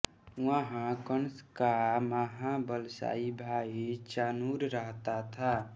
वहां कंस का महाबलशायी भाई चाणूर रहता था